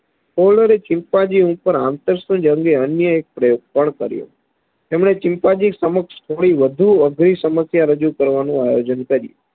ખલોરે chimpanzee ઉપર જન્ય અન્ય એક પ્રયોગ પણ કર્યો તેમને ચિમ્પાન્જી સમક્ષ થોડી વધુ અઘરી સમસ્યા રજૂ કરવાનો આયોજન કર્યું